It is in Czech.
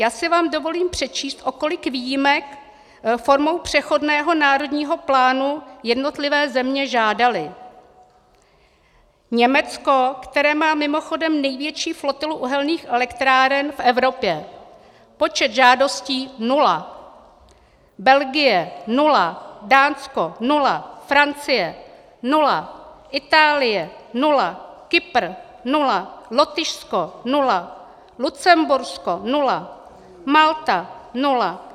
Já si vám dovolím přečíst, o kolik výjimek formou přechodného národního plánu jednotlivé země žádaly: Německo, které má mimochodem největší flotilu uhelných elektráren v Evropě, počet žádostí nula, Belgie nula, Dánsko nula, Francie nula, Itálie nula, Kypr nula, Lotyšsko nula, Lucembursko nula, Malta nula.